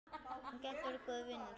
Hún gæti orðið góður vinur.